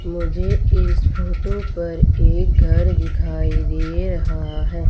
मुझे इस फोटो पर एक घर दिखाई दे रहा है।